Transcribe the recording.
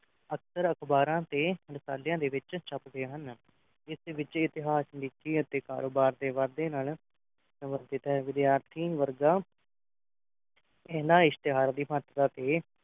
ਅਕਸਰ ਅਖ਼ਬਾਰਾਂ ਤੇ ਰਸਾਲਿਆਂ ਦੇ ਵਿੱਚ ਛਾਪਦੇ ਹਨ ਜਿਸ ਵਿਚ ਇਤਿਹਾਸ ਰੁਚੀ ਅਤੇ ਕਾਰੋਬਾਰ ਵਾਧੇ ਨਾਲ ਸਮ ਵਰਜਿਤ ਹੈ ਵਿਦਿਆਰਥੀ ਵਰਗਾ ਇਨ੍ਹਾਂ ਇਤਿਹਾਸ ਦੀ ਮਹੱਤਤਾ ਤੇ